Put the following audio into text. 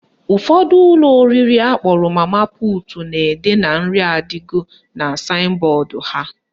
Ụfọdụ ụlọ oriri akpọrọ mama put na-ede na "nri adigo" na saịn bọọdụ ha.